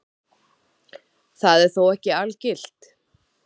Það er þó ekki algilt.